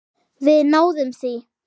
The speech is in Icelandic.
Við náðum því.